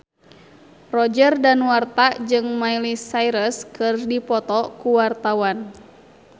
Roger Danuarta jeung Miley Cyrus keur dipoto ku wartawan